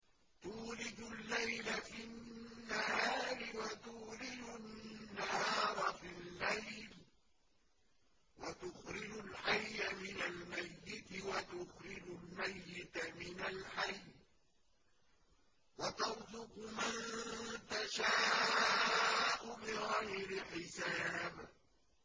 تُولِجُ اللَّيْلَ فِي النَّهَارِ وَتُولِجُ النَّهَارَ فِي اللَّيْلِ ۖ وَتُخْرِجُ الْحَيَّ مِنَ الْمَيِّتِ وَتُخْرِجُ الْمَيِّتَ مِنَ الْحَيِّ ۖ وَتَرْزُقُ مَن تَشَاءُ بِغَيْرِ حِسَابٍ